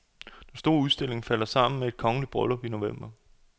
Den store udstilling falder sammen med kongeligt bryllup i november.